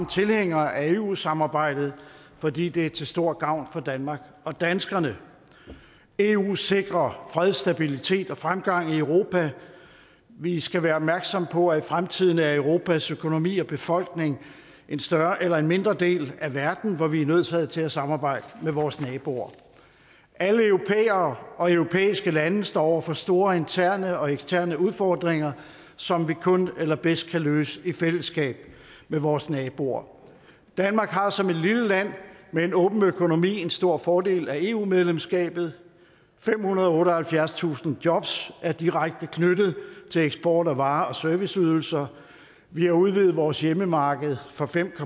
tilhængere af eu samarbejdet fordi det er til stor gavn for danmark og danskerne eu sikrer fred stabilitet og fremgang i europa vi skal være opmærksomme på at i fremtiden er europas økonomi og befolkning en større eller mindre del af verden hvor vi er nødsaget til at samarbejde med vores naboer alle europæere og europæiske lande står over for store interne og eksterne udfordringer som vi kun eller bedst kan løse i fællesskab med vores naboer danmark har som et lille land med en åben økonomi en stor fordel af eu medlemskabet femhundrede og otteoghalvfjerdstusind jobs er direkte knyttet til eksport af varer og serviceydelser vi har udvidet vores hjemmemarked fra fem